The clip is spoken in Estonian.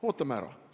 Ootame ära!